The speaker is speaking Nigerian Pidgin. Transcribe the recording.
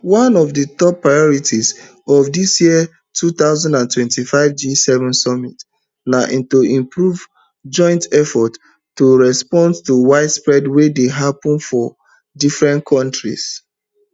one of di top priorities of dis year two thousand and twenty-five gseven summit na to improve joint responses to wildfires wey dey happun for different kontries